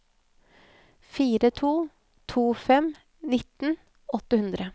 fire to to fem nitten åtte hundre